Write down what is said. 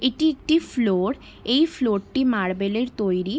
এটি একটি ফ্লোর । এই ফ্লরটি মার্বেলের তৈরি ।